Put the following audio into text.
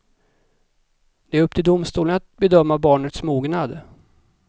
Det är upp till domstolen att bedöma barnets mognad.